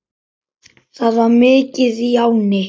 Það var mikið í ánni.